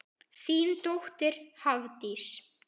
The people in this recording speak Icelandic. Þín dóttir Hafdís.